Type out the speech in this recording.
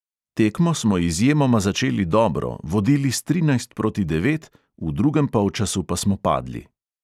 Tekmo smo izjemoma začeli dobro, vodili s trinajst proti devet, v drugem polčasu pa smo padli.